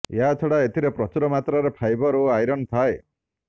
ଏହା ଛଡ଼ା ଏଥିରେ ପ୍ରଚୁର ମାତ୍ରାରେ ଫାଇବର୍ ଓ ଆଇରନ୍ ଥାଏ